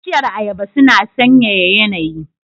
Bishiyar Ayaba suna sanyaya yanayi.